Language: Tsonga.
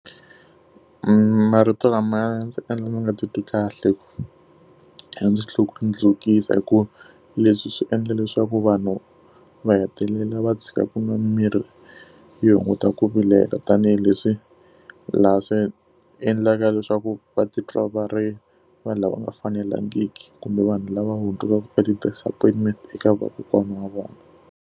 marito lama ndzi endla ndzi nga titwi kahle ya ndzi hikuva leswi swi endla leswaku vanhu va hetelela va tshika ku nwa miri yo hunguta ku vilela tanihileswi laha swi endlaka leswaku va titwa va ri vanhu lava nga fanelangiki kumbe vanhu lava hundzukaka e ti-disappointment eka vakokwana wa vona.